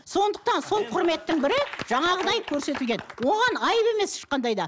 сондықтан сол құрметтің бірі жаңағыдай көрсетілген оған айып емес ешқандай да